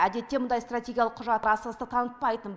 әдетте мұндай стратегиялық құжат асығыстық танытпайтын